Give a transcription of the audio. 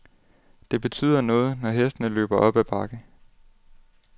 Det betyder noget, når hestene løber op ad bakke.